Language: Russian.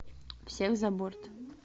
всех за борт